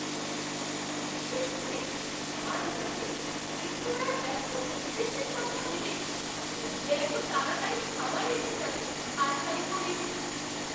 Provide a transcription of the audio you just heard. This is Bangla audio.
বিশেষ করে আজ রাতে রেস্তোরাঁর ব্যস্ত পরিবেশের কথা ভেবে টেবিলে এত তাড়াতাড়ি খাবার এসে যাবে আশাই করিনি!